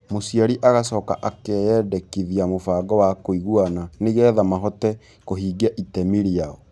Mũciari agacoka akeyandĩkithia mũbango wa kũiguana nĩ getha mahote kũhingia itemi rĩao.